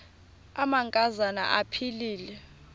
amanka zana aphilele